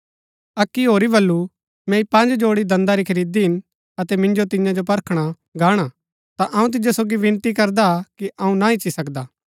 अक्की होरी बल्लू मैंई पँज जोड़ी दांन्‍दा री खरीदी हिन अतै मिन्जो तियां जो परखणा गाणा ता अऊँ तिजो सोगी विनती करदा कि अऊँ ना ईच्ची सकदा